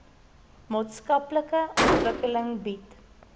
maatskaplike ontwikkeling bied